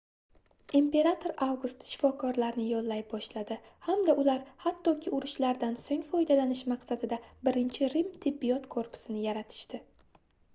imperator avgust shifokorlarni yollay boshladi hamda ular hattoki urushlardan soʻng foydalanish maqsadida birinchi rim tibbiyot korpusini yaratishdi